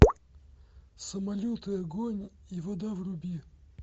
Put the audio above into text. самолеты огонь и вода вруби